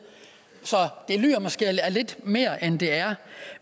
så det lyder måske af lidt mere end det er